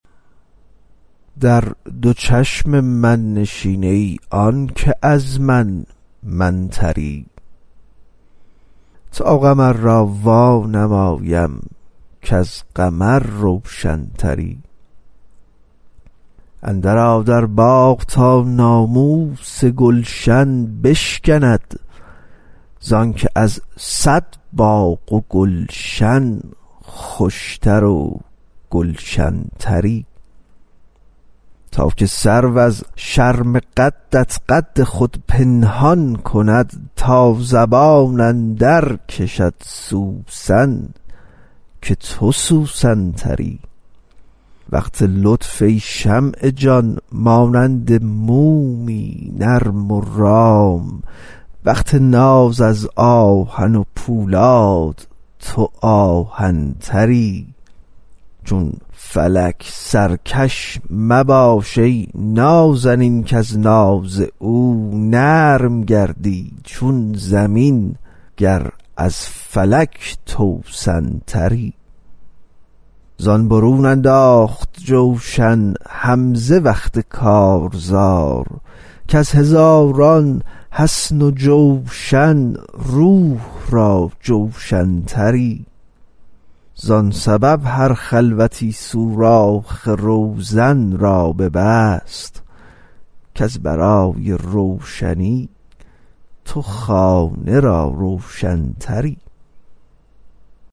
در دو چشم من نشین ای آن که از من من تری تا قمر را وانمایم کز قمر روشن تری اندرآ در باغ تا ناموس گلشن بشکند ز آنک از صد باغ و گلشن خوش تر و گلشن تری تا که سرو از شرم قدت قد خود پنهان کند تا زبان اندرکشد سوسن که تو سوسن تری وقت لطف ای شمع جان مانند مومی نرم و رام وقت ناز از آهن پولاد تو آهن تری چون فلک سرکش مباش ای نازنین کز ناز او نرم گردی چون زمین گر از فلک توسن تری زان برون انداخت جوشن حمزه وقت کارزار کز هزاران حصن و جوشن روح را جوشن تری زان سبب هر خلوتی سوراخ روزن را ببست کز برای روشنی تو خانه را روشن تری